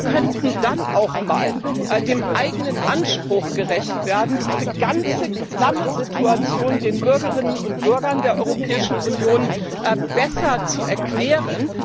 Wir könnten dann auch mal dem eigenen Anspruch gerecht werden, diese ganze klamme Situation den Bürgerinnen und Bürgern der Europäischen Union besser zu erklären.